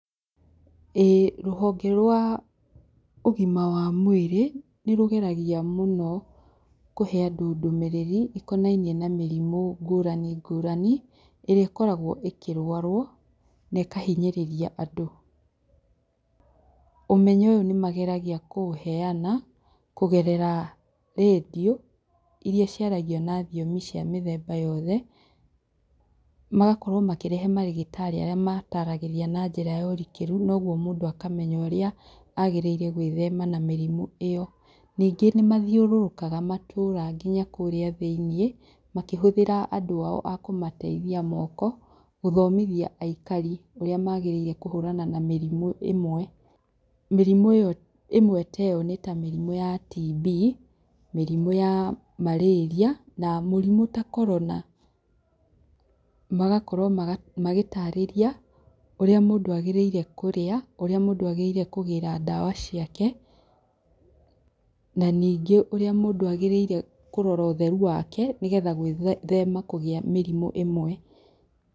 ĩĩ rũhonge rwa, ũgima wa mũĩrĩ, nĩrũgeragia mũno kũhe andũ ndũmĩrĩri ĩkonainie na mĩrimũ ngũrani, ngũrani, ĩria ĩkoragwo ĩkĩrwarwo, na ĩkahinyĩrĩria andũ, ũmenyo ũyũ nĩmageragia kũũheyana kũgerera radio iria ciaragia na thiomi cia mĩthemba yothe, magakorwo makĩrehe marĩgĩtarĩ aria mataragĩria na njĩra ya ũrikĩrũ, nogwo mũndũ akamenya ũria agĩrire gwĩthema na mĩrimũ ĩyo, ningĩ nĩmathiũrũrũkaga matũra ngina kũũria thĩĩniĩ, makĩhũthira andũ ao akũmateithia a moko ,gũthomithia aikari ũrĩa magĩrĩire kũhũrana na mĩrimũ ĩmwe, mĩrimũ ĩyo ĩmwe taĩyo nĩta mĩrimũ ya tibi, mĩrimũ ya maraĩria, na mũrimũ ta korona. Magakorwo magĩtarĩria ũrĩa mũndũ agĩrĩire kũria, ũria mũndũ agĩrĩire kũgĩra ndawa ciake, na ningĩ ũria mũndũ agĩrĩire kũrora ũtherũ wake, nĩgetha gwĩthema kũgia mĩrimũ ĩmwe.